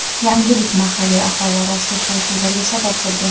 Yangilik mahalliy aholi orasida shov-shuvlarga sabab bo‘lgan.